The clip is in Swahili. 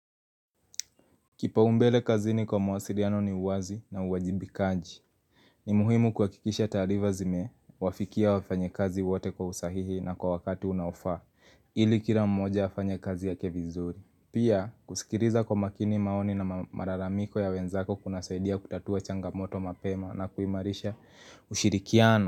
Kipaumbele kazini kwa mawasiliano ni uwazi na uwajibikaji. Ni muhimu kuhakikisha taarifa zimewafikia wafanyikazi wote kwa usahihi na kwa wakati unaofaa, ili kila mmoja afanye kazi yake vizuri. Pia, kusikiliza kwa makini maoni na malalamiko ya wenzako kunasaidia kutatua changamoto mapema na kuimarisha ushirikiano.